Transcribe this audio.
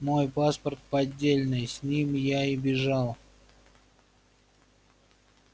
мой паспорт поддельный с ним я и бежал